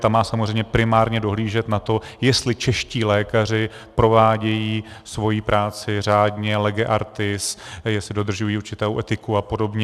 Ta má samozřejmě primárně dohlížet na to, jestli čeští lékaři provádějí svoji práci řádně, lege artis, jestli dodržují určitou etiku a podobně.